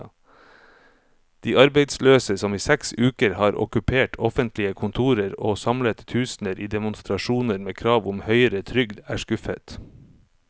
De arbeidsløse, som i seks uker har okkupert offentlige kontorer og samlet tusener i demonstrasjoner med krav om høyere trygd, er skuffet.